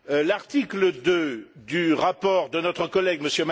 L'article 2 du rapport de notre collègue, M.